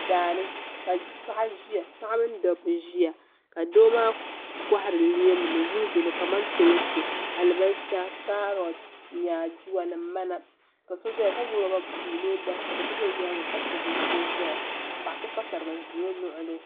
Daa ni ka paɣa ʒiya paɣa mini dabba ʒiya ka doo maa kɔhiri leemu ni wulijo ni kamantoonsi alibalisa kaarɔt nyaaduwa ni mana ka so zaya ka gbubi rɔba buluu ni o da ka doo so za o nyaanga ka tabi o shee zaya ka paɣa so pa sariga n ʒi o luɣuli.